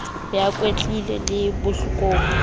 be a kwetlise le bakopi